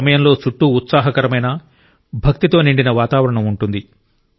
ఈ సమయంలో చుట్టూ ఉత్సాహకరమైన భక్తితో నిండిన వాతావరణం ఉంటుంది